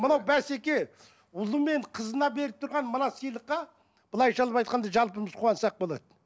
мынау бәсеке ұлы мен қызына беріп тұрған мына сыйлыққа былайша алып айтқанда жалпымыз қуансақ болады